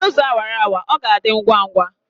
Were ụzọ awara awara! ọ ga-adị ngwa ngwa